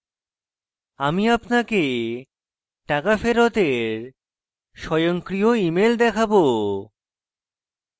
আমি আপনাকে টাকা ফেরতের স্বয়ংক্রিয় email দেখাবো